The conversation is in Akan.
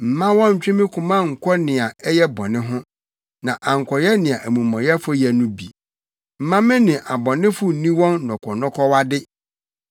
Mma wɔnntwe me koma nnkɔ nea ɛyɛ bɔne ho, na ankɔyɛ nea amumɔyɛfo yɛ no bi, mma me ne abɔnefo nni wɔn nnɔkɔnnɔkɔwade.